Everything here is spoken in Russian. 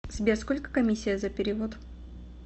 сбер сколько комиссия за перевод